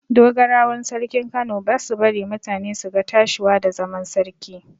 Dogarawan sarkin Kano ba su bari mutane su ga tashiwa da zaman sarki.